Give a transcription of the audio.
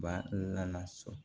Ba la so